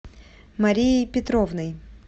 марией петровной